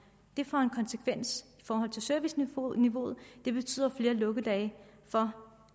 det får en konsekvens i forhold til serviceniveauet det betyder flere lukkedage